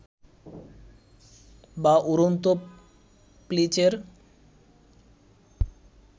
বা উড়ন্ত প্লিচের